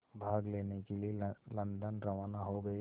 भाग लेने के लिए लंदन रवाना हो गए